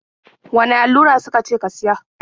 Wane allura su ka ce ka siya?